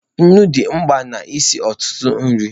Nnu dị mkpa n'isi ọtụtụ nri.